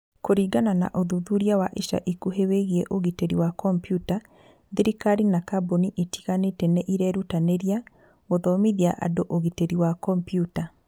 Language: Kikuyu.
Kũringana na ũthuthuria wa ica ikuhĩ wĩgiĩ ũgitĩri wa kompiuta, thirikari na kambuni itiganĩte nĩ irerutanĩria gũthomithia andũ ũgitĩri wa kompiuta.